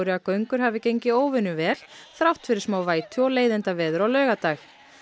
að göngur hafi gengið óvenjuvel þrátt fyrir smá vætu og leiðindaveður á laugardag